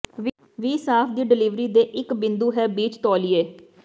ਵੀ ਸਾਫ਼ ਦੀ ਡਿਲਿਵਰੀ ਦੇ ਇੱਕ ਬਿੰਦੂ ਹੈ ਬੀਚ ਤੌਲੀਏ